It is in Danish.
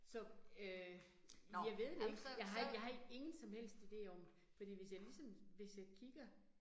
Så øh jeg ved det ikke, jeg har ikke, jeg har ikke ingen som helst ide om, fordi hvis jeg ligesom, hvis jeg kigger